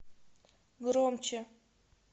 громче